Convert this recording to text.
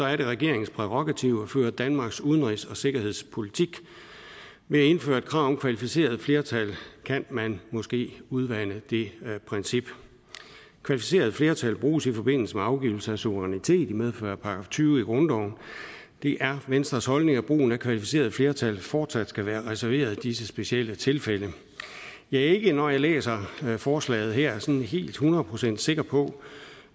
er det regeringens prærogativ at føre danmarks udenrigs og sikkerhedspolitik ved at indføre et krav om kvalificeret flertal kan man måske udvande det princip kvalificeret flertal bruges i forbindelse med afgivelse af suverænitet i medfør af § tyve i grundloven det er venstres holdning at brugen af kvalificeret flertal fortsat skal være reserveret disse specielle tilfælde jeg er ikke når jeg læser forslaget her sådan helt hundrede procent sikker på